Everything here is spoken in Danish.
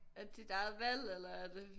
Er det dit eget valg eller er det